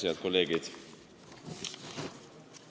Head kolleegid!